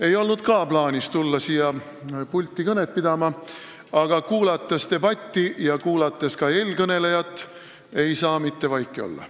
Ei olnud ka mul plaanis tulla siia pulti kõnet pidama, aga kuulates debatti ja eelkõnelejat, ei saa mitte vaiki olla.